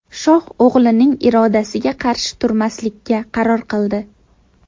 Shoh o‘g‘lining irodasiga qarshi turmaslikka qaror qildi.